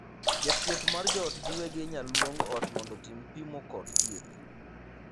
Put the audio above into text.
Jathieth mar joot giwegi inyal luong ot mondo otim pimo kod thieth.